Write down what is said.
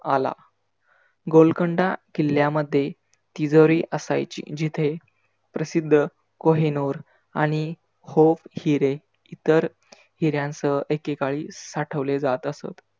आला. गोलकोंडा किल्ल्यामध्ये तिजोरी असायची जिथे प्रसिध्द कोहीनूर आणि होप हिरे तर हिर्‍यांसह एके काळी साठवले जात असतं.